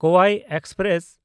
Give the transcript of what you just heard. Kovai express